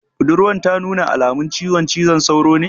Budurwan ta nuna alamun ciwon cizon sauro ne?